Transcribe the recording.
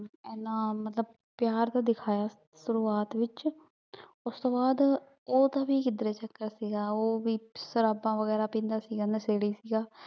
ਏਨਾ ਮਤਲਬ ਪਯਾਰ ਤਾਂ ਦਿਖਾਯਾ ਸ਼ੁਰਵਾਤ ਵਿਚ ਓਸ੍ਤੋੰ ਬਾਅਦ ਊ ਤਾਂ ਵੀ ਕਿਦਰੇ ਚਕ੍ਰ ਸੀਗਾ ਊ ਵੀ ਸ਼ਰਾਬਾਂ ਵੇਗਿਰਾ ਪੀਂਦਾ ਸੀਗਾ ਨਸ਼ੇੜੀ ਸੀਗਾ